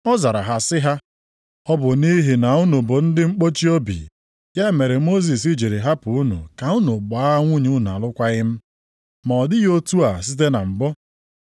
Ọ zara ha sị ha, “Ọ bụ nʼihi na unu bụ ndị mkpọchi obi, ya mere Mosis jiri hapụ unu ka unu gbaa nwunye unu alụkwaghị m; ma ọ dịghị otu a site na mbụ.